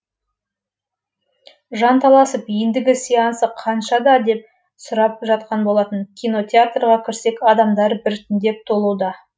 жанталасып ендігі сеансы қаншада деп сұрап жатқан болатын кинотеатрға кірсек адамдар бірітіндеп толуда